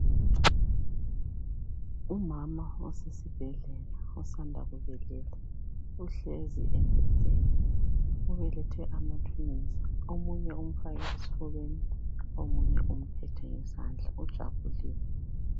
Umama osesibhedlela osanda kubeletha uhlezi embhedeni ubelethe ama twins omunye umfake esifubeni omunye umphethe ngezandla ujabulile.